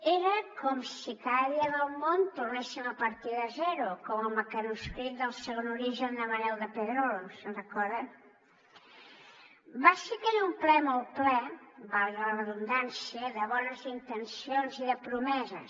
era com si cada dia del món tornéssim a partir de zero com al mecanoscrit del segon origen de manuel de pedrolo se’n recorden va ser aquell un ple molt ple valgui la redundància de bones intencions i de promeses